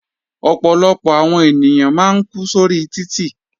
Ọ̀pọ̀lọpọ̀ àwọn ènìyàn máa ń kú sórí títì.